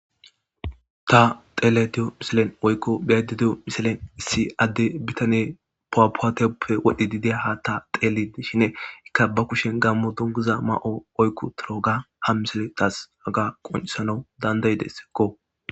Ta dhelayda diyo missiliyan woyko be'ayda diyo missiliyan issi ade bitane puwapuwate pude wodhidi diya hata dhelidi dishin ika ba kushiyan gamo dunguza ma'o oyqiutiroga ha missile tas haga qonc'isanaw danda'desko.